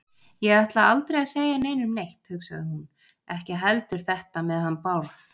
Ég ætla aldrei að segja neinum neitt, hugsaði hún, ekki heldur þetta með hann Bárð.